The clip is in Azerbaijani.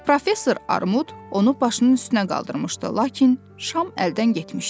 Professor Armud onu başının üstünə qaldırmışdı, lakin Şam əldən getmişdi.